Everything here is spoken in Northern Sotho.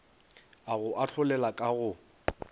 a go ahlolela ka go